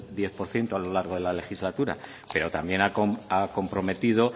diez por ciento a lo largo de la legislatura pero también ha comprometido